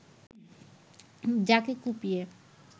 যাকে কুপিয়ে